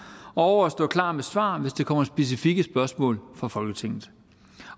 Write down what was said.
og over at stå klar med svar hvis der kommer specifikke spørgsmål fra folketinget